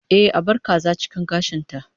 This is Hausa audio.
Ehh, a bar kaza cikin gashin ta